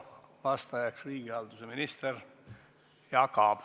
Vastajaks on riigihalduse minister Jaak Aab.